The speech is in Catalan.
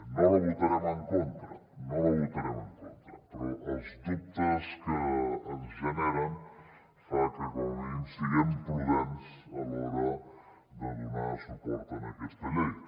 no la votarem en contra no la votarem en contra però els dubtes que ens genera fan que com a mínim siguem prudents a l’hora de donar suport a aquesta llei